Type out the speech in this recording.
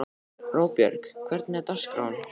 Róbjörg, hvernig er dagskráin?